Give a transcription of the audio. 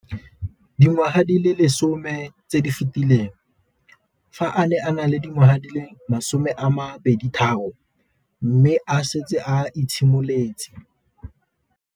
Dingwaga di le 10 tse di fetileng, fa a ne a le dingwaga di le 23 mme a setse a itshimoletse.